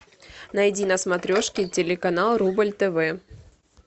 найди на смотрешке телеканал рубль тв